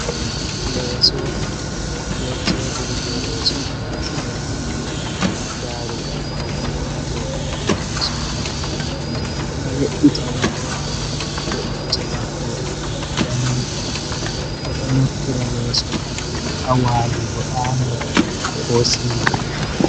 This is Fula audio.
Leeso be tebur je leso man ha sera nda darugal paune bo ha dou hore leso man. Ɓeɗo we’itanigo be'ittemago daneji ɓeɗo naftira leeso ha walugo ɗaana ko siuta.